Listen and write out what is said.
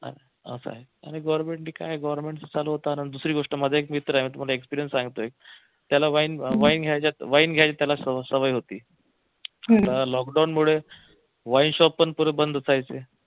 असं आहे आणि government ने काय चालू होताना दुसरी गोष्ट माझा एक मित्र आहे मी तुम्हाला experience सांगतोय त्याला wine घ्यायची त्याला सवय होती त्याला लॉकडाऊन मुळे wine shop पण पूर्ण बंद असायचे